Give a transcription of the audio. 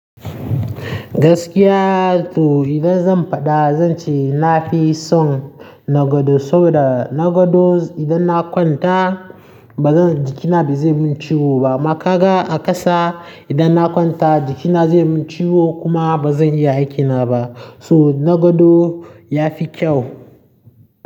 Gaskiya to idan zan faɗa zan ce na fi son na gado saboda na gado idan na kwanta bazan jikina ba zai min ciwo ba. Kuma kaga a ƙasa idan na kwanta jikina zai min ciwo kuma bazan iya aikina ba. So na gado ya fi kyau.